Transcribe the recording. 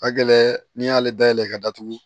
Ka gɛlɛn n'i y'ale dayɛlɛ i ka datugu